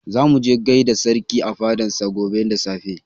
Za mu je mu gaida sarki a fadan sa gobe da safe